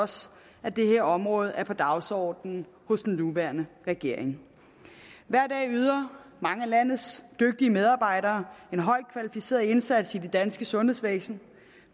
også at det her område er på dagsordenen hos den nuværende regering hver dag yder mange af landets dygtige medarbejdere en højt kvalificeret indsats i det danske sundhedsvæsen